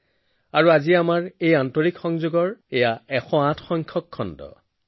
মালাত এশ আঠটা মণি ১০৮বাৰ জপ ১০৮টা পূন্য ক্ষেত্ৰ মন্দিৰত ১০৮টা চিৰি ১০৮ ঘণ্টা ১০৮ অসীম বিশ্বাসৰ সৈতে জড়িত